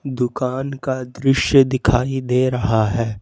दुकान का दृश्य दिखाई दे रहा है।